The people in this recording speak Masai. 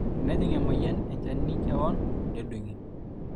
tenejing emueyian enchani kewon nedung'i